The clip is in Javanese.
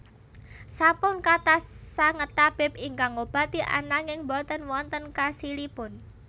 Sampun kathah sanget tabib ingkang ngobati ananging boten wonten khasilipun